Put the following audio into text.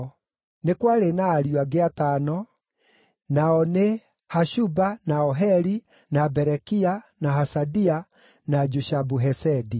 Nĩ kwarĩ na ariũ angĩ atano, nao nĩ: Hashuba, na Oheli, na Berekia, na Hasadia, na Jushabu-Hesedi.